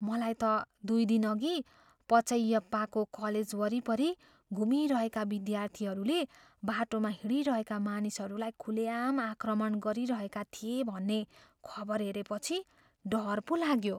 मलाई त दुई दिनअघि पचैयप्पाको कलेज वरिपरि घुमिरहेका विद्यार्थीहरूले बाटोमा हिँडिरहेका मानिसहरूलाई खुलेआम आक्रमण गरिरहेका थिए भन्ने खबर हेरेपछि डर पो लाग्यो।